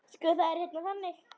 Sko, það er hérna þannig.